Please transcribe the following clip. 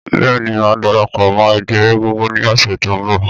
Bẹ́ẹ̀ ni, mà á darapọ̀ mọ́ ẹgbẹ́ egungun ní ọ̀sẹ̀ tó ń bọ̀.